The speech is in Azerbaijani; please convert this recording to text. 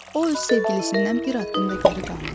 O öz sevgilisindən bir addım da geri qalmırdı.